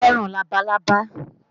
Mo fẹ́ràn labalábá